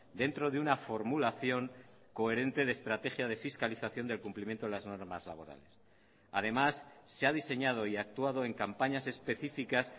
dentro de una formulación coherente de estrategia de fiscalización del cumplimiento de las normas laborales además se ha diseñado y actuado en campañas específicas